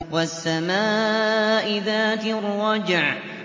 وَالسَّمَاءِ ذَاتِ الرَّجْعِ